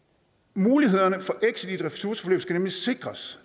mulighederne for exit ressourceforløb skal nemlig sikres